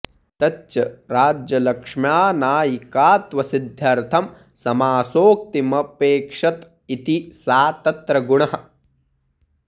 तच्च राज्यलक्ष्म्या नायिकात्वसिद्ध्यर्थं समासोक्तिमपेक्षत इति सा तत्र गुणः